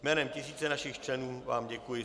Jménem tisíce našich členů vám děkuji.